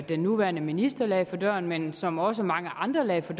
den nuværende minister lagde for dagen men som også mange andre lagde for